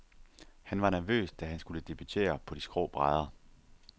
Han var nervøs, da han skulle debutere på de skrå brædder.